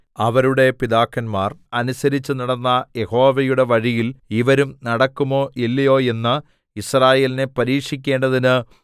അവരുടെ പിതാക്കന്മാർ അനുസരിച്ചു നടന്ന യഹോവയുടെ വഴിയിൽ ഇവരും നടക്കുമോ ഇല്ലയോ എന്ന് യിസ്രായേലിനെ പരീക്ഷിക്കേണ്ടതിന്